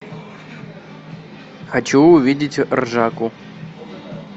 хочу увидеть ржаку